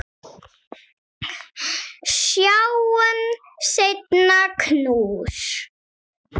Sjáumst seinna, knús.